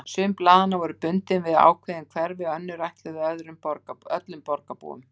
Sum blaðanna voru bundin við ákveðin hverfi, önnur ætluð öllum borgarbúum.